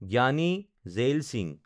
জ্ঞানী জেইল সিংহ